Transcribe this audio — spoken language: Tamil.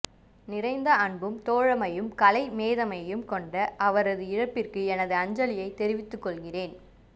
நிறைந்த அன்பும் தோழமையும் கலைமேதமையும் கொண்ட அவரது இழப்பிற்கு எனது அஞ்சலியைத் தெரிவித்துக் கொள்கிறேன்